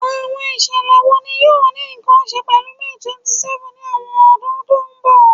Awọn iṣẹlẹ wo ni yoo ni nkan ṣe pẹlu May 27th ni awọn ọdun to nbọ?